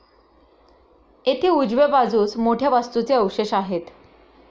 येथे उजव्या बाजूस मोठ्या वास्तूचे अवशेष आहेत.